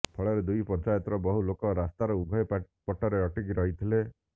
ଫଳରେ ଦୁଇ ପଞ୍ଚାୟତର ବହୁ ଲୋକ ରାସ୍ତାର ଉଭୟ ପଟରେ ଅଟକି ରହିଥିଲେ